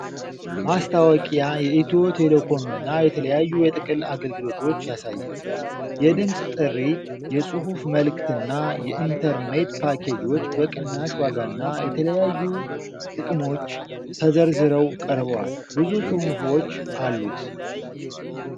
ማስታወቂያ የኢትዮ ቴሌኮምን የተለያዩ የጥቅል አገልግሎቶች ያሳያል። የድምጽ ጥሪ፣ የጽሑፍ መልእክትና የኢንተርኔት ፓኬጆች በቅናሽ ዋጋና የተለያዩ ጥቅሞች ተዘርዝረው ቀርበዋል። ብዙ ጽሑፎች አሉት።